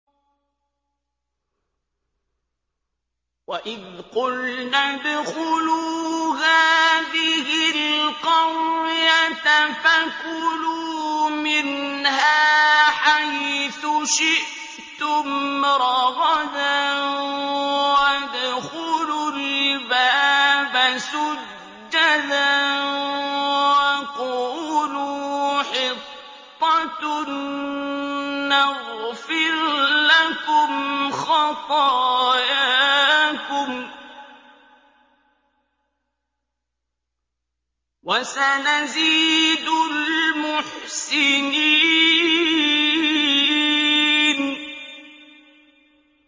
وَإِذْ قُلْنَا ادْخُلُوا هَٰذِهِ الْقَرْيَةَ فَكُلُوا مِنْهَا حَيْثُ شِئْتُمْ رَغَدًا وَادْخُلُوا الْبَابَ سُجَّدًا وَقُولُوا حِطَّةٌ نَّغْفِرْ لَكُمْ خَطَايَاكُمْ ۚ وَسَنَزِيدُ الْمُحْسِنِينَ